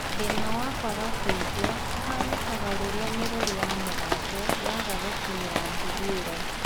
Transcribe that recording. Thĩna wa kwaga kũigua ũhanĩkaga rĩrĩa mĩrũri ya mũgambo yagaga gũkinyĩra mbuguĩro